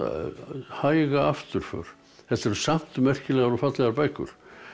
hæga afturför þetta eru samt merkilegar og fallegar bækur